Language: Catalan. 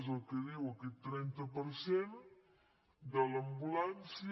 és el que diu aquest trenta per cent de l’ambulància